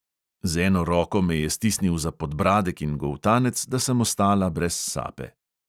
Z eno roko me je stisnil za podbradek in goltanec, da sem ostala brez sape.